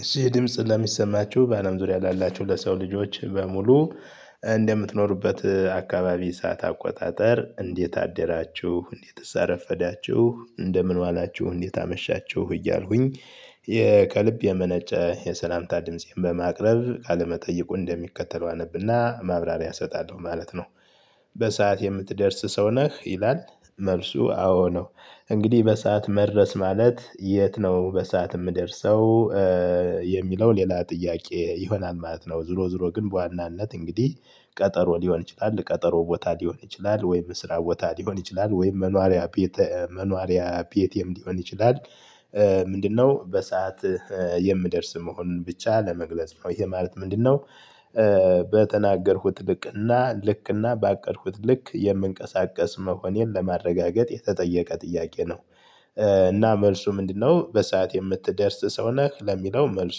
እሺ ድምጽ ለሚሰማችሁ በአለም ዙሪያ ላላችሁ ለሰው ልጆች በሙሉ እንደምትኖሩበት አካባቢ ሰዓት አቆጣጠር እንዴት አደራችሁ እንዴትስ አረፈዳችሁ እንደምን ዋላችሁ እንዴት አመሻችሁ እያልኩኝ ከልብ የመነጨ የሰላምታ ድምፄን በማቅረብ ቃለመጠየቁን እንደሚከተለው አነብና ማብራሪያ እሰጣለሁ ማለት ነው። በሰአት የምትደርስ ሰው ነህ ይላል? መልሱ አዎ ነው። እንግዲህ በሰአት መድረስ ማለት የት ነው በሰአት የምደርሰው? የሚለው ሌላ ጥያቄ ይሆናል ማለት ነው። ዙሮ ዙሮ ግን በዋናነት እንግዲህ ቀጠሮ ሊሆን ይችላል ቀጠሮ ቦታ ሊሆን ይችላል ወይም ስራ ቦታ ሊሆን ይችላል ወይም መኖሪያ ቤት መኖሪያ ቤቴም ሊሆን ይችላል። ምንድነው? በሰአት የምደርስ መሆን ብቻ ለመግለጽ ይሄ ማለት ምንድነው? በተናገርኩት ልክና ልክና ባቀድኩት ልክ የምንቀሳቀስ መሆኔን ለማረጋገጥ የተጠየቀ ጥያቄ ነው። እና መልሱ ምንድነው? በሰአት የምትደርስ ሰው ነህ ለሚለው መልሱ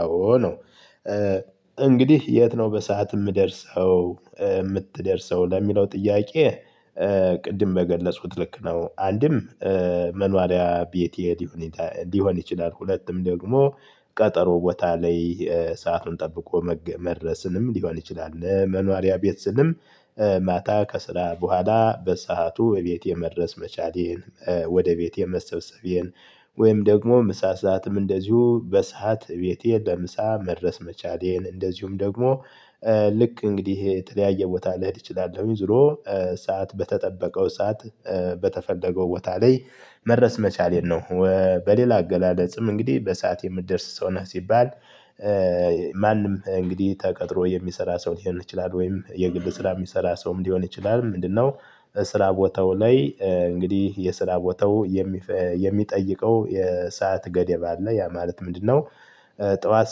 አዎ ነው። እንግዲህ የት ነው በሰአት የምደርሰው የምትደርሰው ለሚለው ጥያቄ። ቅድም በገለጽኩት ልክ ነው። አንድም መኖሪያ ቤቴ ሊሆን ይችላል ሁለትም ደግሞ ቀጠሮ ቦታ ላይ ሰአቱን ጠብቆ መድረስንም ሊሆን ይችላል። መኖሪያ ቤት ስልም ማታ ከስራ በኋላ በሰአቱ እቤቴ መድረስ መቻሌን። ወደ ቤቴ መሰብሰቤን። ወይም ደግሞ ምሳ ሰዓትም እንደዚሁ በሰአት ቤቴ ለምሳ መድረስ መቻሌን እንደዚሁም ደግሞ። ልክ እንግዲህ የተለያየ ቦታ ልሄድ እችላለሁኝ ዙሮ ሰዓት በተጠበቀው ሰዓት በተፈለገው ቦታ ላይ መድረስ መቻሌን ነው። በሌላ አገላለጽም እንግዲህ በሰአት የምትደርስ ሰው ነህ ሲባል? ማንም እንግዲህ ተቀጥሮ የሚሰራ ሰው ሊሆን ይችላል ወይም የግል ስራ የሚሰራ ሰውም ሊሆን ይችላል። ምንድነው? ስራ ቦታው ላይ እንግዲህ የስራ ቦታው? የሚጠይቀው የሰዓት ገደብ አለ ያ ማለት ምንድነው? ጠዋት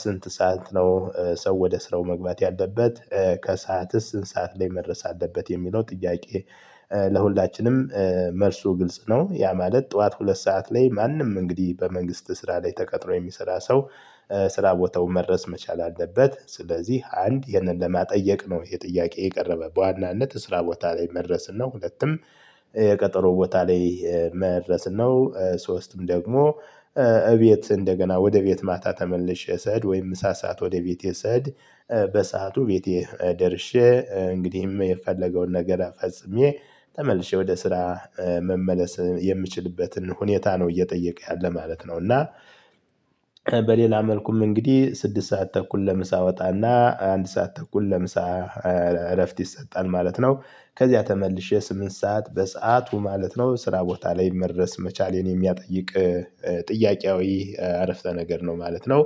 ስንት ሰዓት ነው ሰው ወደ ስራው መግባት ያለበት ከሰዓትስ ስንት ሰዓት ላይ መድረስ አለበት የሚለው ጥያቄ። ለሁላችንም መልሱ ግልጽ ነው። ያ ማለት ጠዋት ሁለት ሰዓት ላይ ማንም እንግዲህ በመንግስት ስራ ላይ ተቀጥሮ የሚሰራ ሰው ስራ ቦታው መድረስ መቻል አለበት። ስለዚህ አንድ ይሄንን ለመጠየቅ ነው ይሄ ጥያቄ የቀረበ በዋናነት ስራ ቦታ ላይ መድረስን ነው። ሁለትም የቀጠሮ ቦታ ላይ መድረስ ነው። ሶስትም ደግሞ እቤት እንደገና ወደ ቤት ማታ ተመልሼ ስሄድ ወይም ምሳ ሰዓት ወደ ቤቴ ስሄድ በሰአቱ ቤቴ ደርሼ እንግዲህም የፈለገውን ነገር ፈጽሜ ተመልሼ ወደ ስራ መመለስ የምችልበትን ሁኔታ ነው። እየጠየቀ ያለ ማለት ነው። እና በሌላ መልኩም እንግዲህ ስድስት ሰዓት ተኩል ለምሳ ወጣና አንድ ሰዓት ተኩል ለምሳ እረፍት ይሰጣል ማለት ነው። ከዚያ ተመልሼ ስምንት ሰዓት በሰአቱ ማለት ነው ስራ ቦታ ላይ መድረስ መቻሌን የሚያጠይቅ ጥያቄያዊ አረፍተ ነገር ነው ማለት ነው።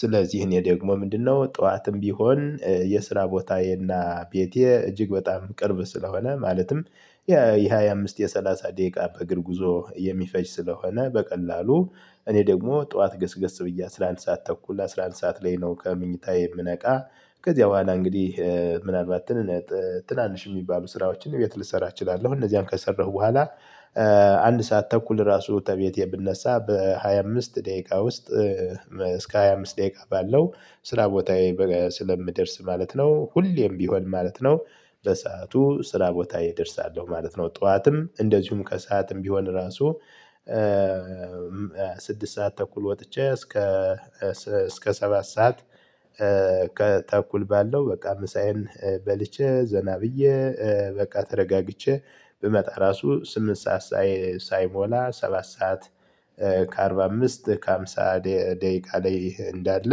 ስለዚህ እኔ ደግሞ ምንድነው ጠዋትም ቢሆን የስራ ቦታዬና ቤቴ እጅግ በጣም ቅርብ ስለሆነ ማለትም የሃያ አምስት የሠላሳ ደቂቃ በእግር ጉዞ የሚፈጅ ስለሆነ። በቀላሉ እኔ ደግሞ ጠዋት ገስገስ ብዬ አስራ አንድ ሰዓት ተኩል አስራ አንድ ሰዓት ላይ ነው ከምኝታዬ የምነቃ። ከዚያ በኋላ እንግዲህ ምናልባት ትናንሽ የሚባሉ ስራዎችን ቤት ልሰራ እችላለሁ። እነዚያን ከሰራሁ በኋላ አንድ ሰዓት ተኩል ራሱ ተቤቴ ብነሳ በሃያ አምስት ደቂቃ ውስጥ። እስከ ሃያ አምስት ደቂቃ ባለው ስራ ቦታዬ ስለምደርስ ማለት ነው። ሁሌም ቢሆን ማለት ነው። በሰአቱ ስራ ቦታዬ ደርሳለሁ ማለት ነው። ጠዋትም እንደዚሁም ከሰአትም ቢሆን ራሱ። ስድስት ሰዓት ተኩል ወጥቼ እስከ ሰባት ሰዓት። ከተኩል ባለው በቃ ምሳዬን በልቼ ዘና ብዬ በቃ ተረጋግቼ ብመጣ ራሱ ስምንት ሰዓት ሳይሞላ ሰባት ሰዓት። ከአርባ አምስት ከአምሳ ደቂቃ ላይ እንዳለ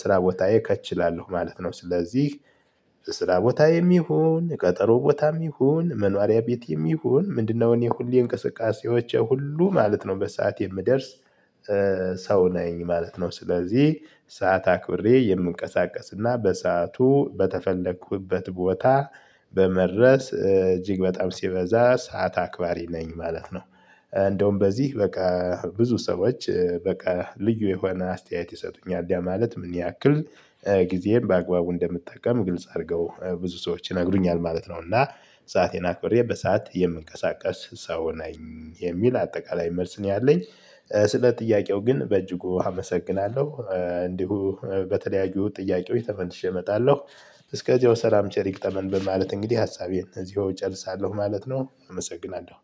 ስራ ቦታዬ ከች እላለሁ ማለት ነው። ስለዚህ ስራ ቦታዬም ይሁን ቀጠሮ ቦታም ይሁን መኖሪያ ቤቴም ይሁን ምንድነው እኔ ሁሌ እንቅስቃሴዎች ሁሉ ማለት ነው በሰአት የምደርስ ሰው ነኝ ማለት ነው። ስለዚህ ሰዓት አክብሬ የምንቀሳቀስና በሰአቱ በተፈለኩበት ቦታ በመድረስ እጅግ በጣም ሲበዛ ሰዓት አክባሪ ነኝ ማለት ነው። እንደውም በዚህ በቃ ብዙ ሰዎች በቃ ልዩ የሆነ አስተያየት ይሰጡኛል ያ ማለት ምን ያክል ጊዜን በአግባቡ እንደምጠቀም ግልጽ አድርገው ብዙ ሰዎች ይነግሩኛል ማለት ነው። እና ሰአቴን አክብሬ በሰአት የምንቀሳቀስ ሰው ነኝ የሚል አጠቃላይ መልስ ነው ያለኝ። ስለ ጥያቄው ግን በእጅጉ አመሰግናለሁ እንዲሁ በተለያዩ ጥያቄዎች ተመልሼ እመጣለሁ። እስከዚያው ሰላም ቸር ይግጠመን በማለት እንግዲህ ሀሳቤን እዚሁ እጨርሳለሁ ማለት ነው። አመሰግናለሁ።